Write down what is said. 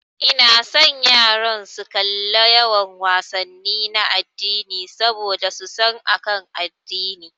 Ina son yaran su kalla yawan wasanni na addini saboda su san akan addini.